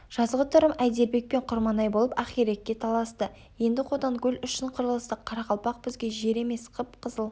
жазғытұрым әйдербек пен құрманай болып ақирекке таласты енді қотанкөл үшін қырылыстық қарақалпақ бізге жер емес қып-қызыл